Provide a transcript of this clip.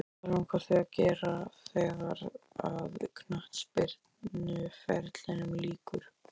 Hvað langar þig að gera þegar að knattspyrnuferlinum líkur?